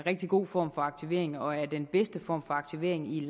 rigtig god form for aktivering og er den bedste form for aktivering i